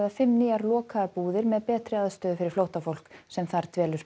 fimm nýjar lokaðar búðir með betri aðstöðu fyrir flóttafólk sem þar dvelur